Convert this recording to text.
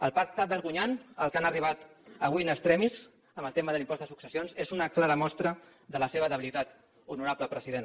el pacte vergonyant a què han arribat avui in extremis en el tema de l’impost de successions és una clara mostra de la seva debilitat honorable president